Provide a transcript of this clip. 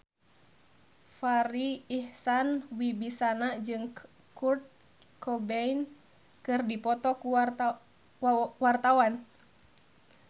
Farri Icksan Wibisana jeung Kurt Cobain keur dipoto ku wartawan